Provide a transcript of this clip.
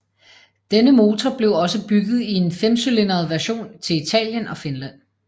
Denne motor blev også bygget i en femcylindret version til Italien og Finland